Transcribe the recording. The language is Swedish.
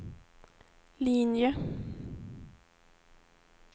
linje